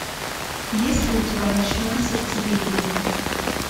есть ли у тебя ночное сердцебиение